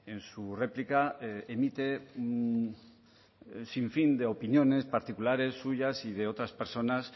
en su réplica emite un sinfín de opiniones particulares suyas y de otras personas